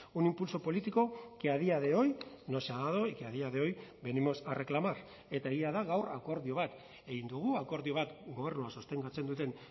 un impulso político que a día de hoy no se ha dado y que a día de hoy venimos a reclamar eta egia da gaur akordio bat egin dugu akordio bat gobernua sostengatzen duten